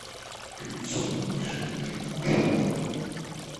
включи миша ермошин